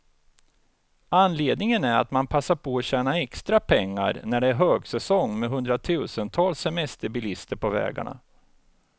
Anledningen är att man passar på att tjäna extra pengar, när det är högsäsong med hundratusentals semesterbilister på vägarna.